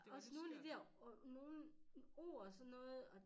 Også nogen af de dér nogen ord og sådan noget